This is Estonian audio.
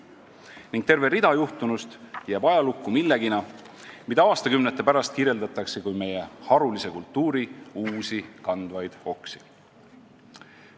Ning palju juhtunust jääb ajalukku millenagi, mida aastakümnete pärast kirjeldatakse kui meie harulise kultuuri uusi kandvaid oksi.